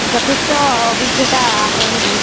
মানে যঠেষ্ট অভিজ্ঞতা আহৰণ কৰিছে